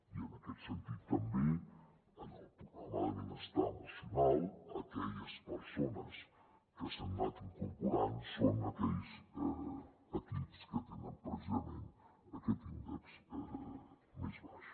i en aquest sentit també en el programa de benestar emocional aquelles persones que s’hi han anat incorporant són aquells equips que tenen precisament aquest índex més baix